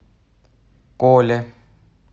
коле